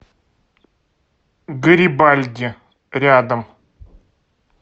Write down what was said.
гарибальди рядом